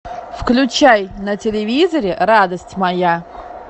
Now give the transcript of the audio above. включай на телевизоре радость моя